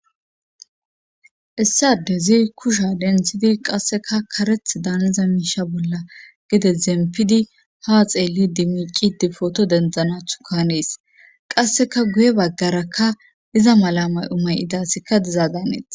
issi adezii kusha denthidi qasseka kareth daanza miisha bolla gide zempidi ha xeelli dimilqi difooto dendzanathu kanees qasseka guye baggaraka iza mala mayo mayida asiyka diza danes